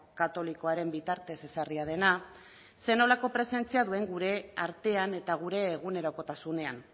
katolikoaren bitartez ezarria dena zer nolako presentzia duen gure artean eta gure egunerokotasunean